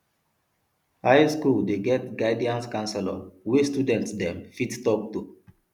high skool dey get guidance counselor wey student dem fit talk to